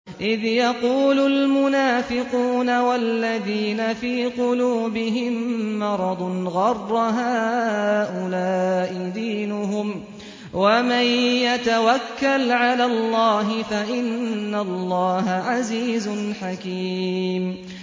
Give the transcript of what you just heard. إِذْ يَقُولُ الْمُنَافِقُونَ وَالَّذِينَ فِي قُلُوبِهِم مَّرَضٌ غَرَّ هَٰؤُلَاءِ دِينُهُمْ ۗ وَمَن يَتَوَكَّلْ عَلَى اللَّهِ فَإِنَّ اللَّهَ عَزِيزٌ حَكِيمٌ